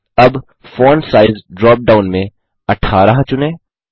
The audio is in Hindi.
अब फोंट साइज ड्रॉप डाउन में 18 चुनें